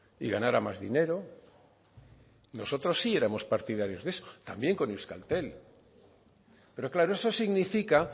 y ganara más dinero nosotros sí éramos partidarios de eso también con euskaltel pero claro eso significa